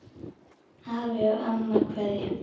Afi og amma kveðja